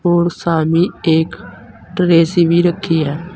और सामने एक ट्रे सी भी रखी है।